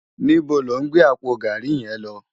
Nibó ló n gbé àpó gàrí yèn lò?